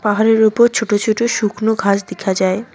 পাহাড়ের ওপর ছোটো ছোট শুকনো ঘাস দেখা যায়।